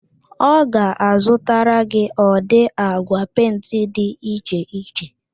Ọ ga-azụtara gị ụdị agwa pentị dị iche iche